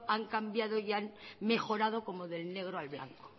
han cambiado y han mejorado como del negro al blanco